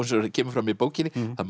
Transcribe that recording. kemur fram í bókinni það